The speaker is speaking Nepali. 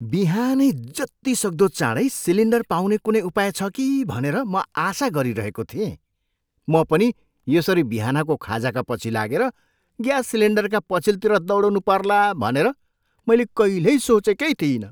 बिहानै जतिसक्दो चाडैँ सिलिन्डर पाउने कुनै उपाय छ कि भनेर म आशा गरिरहेको थिएँ। म पनि यसरी बिहानको खाजाका पछि लागेर ग्यास सिलेन्डरका पछिल्तिर दौडिनु पर्ला भनेर मैले कहिल्यै सोचेकै थिइनँ।